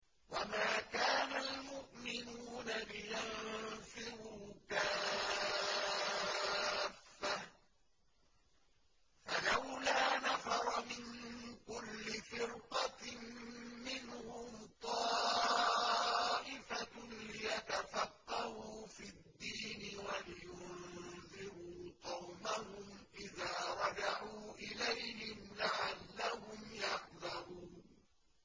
۞ وَمَا كَانَ الْمُؤْمِنُونَ لِيَنفِرُوا كَافَّةً ۚ فَلَوْلَا نَفَرَ مِن كُلِّ فِرْقَةٍ مِّنْهُمْ طَائِفَةٌ لِّيَتَفَقَّهُوا فِي الدِّينِ وَلِيُنذِرُوا قَوْمَهُمْ إِذَا رَجَعُوا إِلَيْهِمْ لَعَلَّهُمْ يَحْذَرُونَ